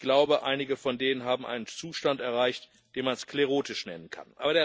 Ich glaube, einige von denen haben einen Zustand erreicht, den man sklerotisch nennen kann.